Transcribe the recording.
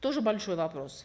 тоже большой вопрос